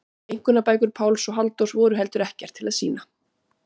Einkunnabækur Páls og Halldórs voru heldur ekkert til að sýna.